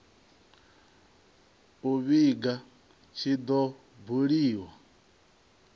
u vhiga tshi do buliwa